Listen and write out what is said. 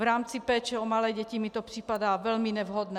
V rámci péče o malé děti mi to připadá velmi nevhodné.